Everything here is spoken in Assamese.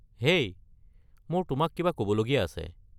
হেই মোৰ তোমাক কিবা ক’বলগীয়া আছে।